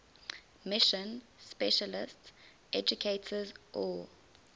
mission specialist educators or